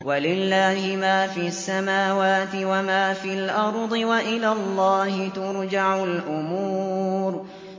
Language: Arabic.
وَلِلَّهِ مَا فِي السَّمَاوَاتِ وَمَا فِي الْأَرْضِ ۚ وَإِلَى اللَّهِ تُرْجَعُ الْأُمُورُ